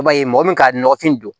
I b'a ye mɔgɔ min ka nɔgɔfin don